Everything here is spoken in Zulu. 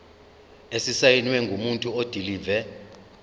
esisayinwe ngumuntu odilive